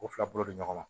K'u fila bolo don ɲɔgɔn na